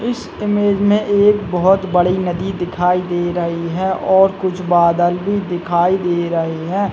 इस इमेज मे एक बहुत बड़ी नदी दिखाई दे रही है और कुछ बादल भी दिखाई दे रही हैं।